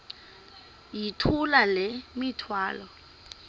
yithula le mithwalo